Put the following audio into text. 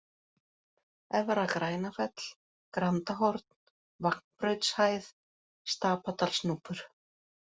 Efra-Grænafell, Grandahorn, Vagnbrautshæð, Stapadalsnúpur